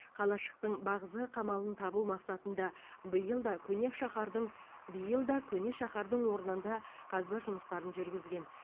қалашықтың бағзы қамалын табу мақсатында биыл да көне шаһардың биыл да көне шаһардың орнында қазба жұмыстарын жүргізген